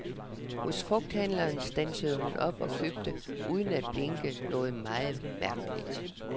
Hos frugthandleren standsede hun op og købte, uden at blinke, noget meget mærkeligt.